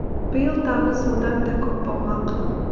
биыл табыс одан да көп болмақ